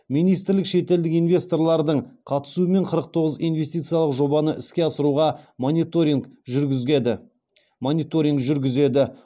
министрлік шетелдік инвесторлардың қатысуымен қырық тоғыз инвестициялық жобаны іске асыруға мониторинг жүргізеді